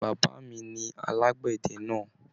Bàbá mí ní alagbẹdẹ náà.